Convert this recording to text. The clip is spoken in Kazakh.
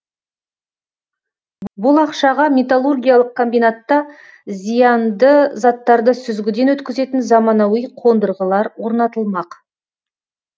бұл ақшаға металлургиялық комбинатта зиянды заттарды сүзгіден өткізетін заманауи қондырғылар орнатылмақ